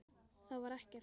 Það var ekkert.